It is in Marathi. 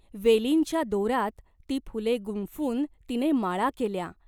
वेलींच्या दोरात ती फुले गुंफून तिने माळा केल्या.